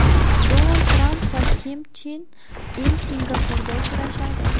Donald Tramp va Kim Chen In Singapurda uchrashadi.